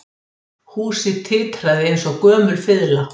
Húsið titraði eins og gömul fiðla